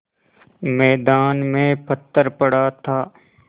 मैदान में पत्थर पड़ा था